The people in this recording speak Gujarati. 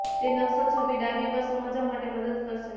તે નકશો છબી ડાબી પર સમજવા માટે મદદ કરશે